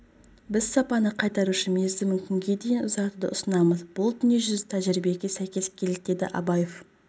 біз сапаны қайтару үшін мерзімін күнге дейін ұзартуды ұсынамыз бұл дүниежүзілік тәжірибеге сәйкес келеді деді абаев